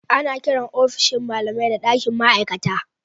Ana kiran ofishin malamai da dakin ma'aikata.